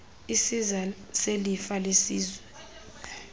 isiza selifa lelizwe